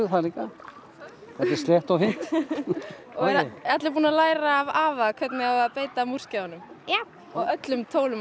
það líka þetta er slétt og fínt eru allir búnir að læra af afa hvernig á að beita múrskeiðunum já og öllum tólum og